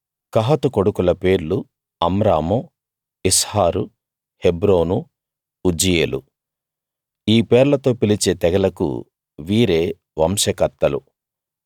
కహాతు కొడుకుల పేర్లు అమ్రాము ఇస్హారు హెబ్రోను ఉజ్జీయేలు ఈ పేర్లతో పిలిచే తెగలకు వీరే వంశకర్తలు